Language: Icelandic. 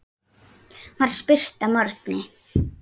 var spurt að morgni.